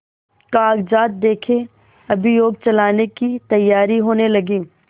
कागजात देखें अभियोग चलाने की तैयारियॉँ होने लगीं